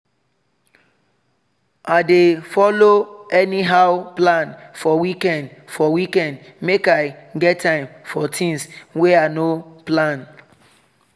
i dey follow anyhow plan for weekend for weekend make i get time for things wey i no plan